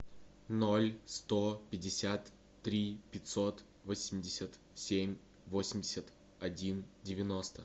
ноль сто пятьдесят три пятьсот восемьдесят семь восемьдесят один девяносто